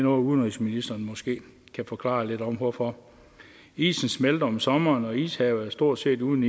udenrigsministeren måske forklare lidt om hvorfor isen smelter om sommeren og ishavet er stort set uden